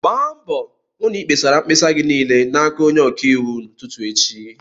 Gba mbọ hụ na-ịkpesara mkpesa gị niile n'aka onye ọka iwu n'ụtụtụ echi!